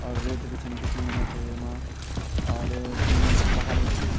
और रेत बि छन दिखेणी मैते येमा और द्वि मनखी पहाड़ मा बि छन।